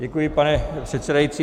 Děkuji, pane předsedající.